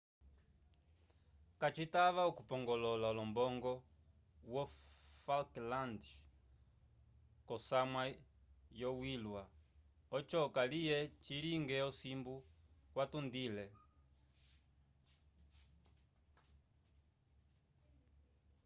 kacitava okupongolola olombongo wo falklands k'osamwa yoyilya oco kaliye cilinge osimbu kwatundile